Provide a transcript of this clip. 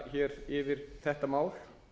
fara yfir þetta mál